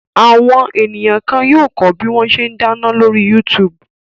Àwọn ènìyàn kan yóò kọ́ bí wọ́n ṣe dáná lórí YouTube.